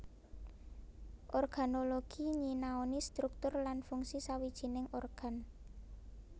Organologi nyinaoni struktur lan fungsi sawijining organ